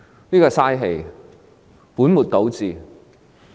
這是浪費氣力、本末倒置的。